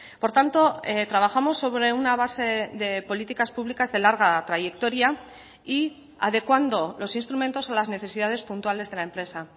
por tanto trabajamos sobre una base de políticas públicas de larga trayectoria y adecuando los instrumentos a las necesidades puntuales de la empresa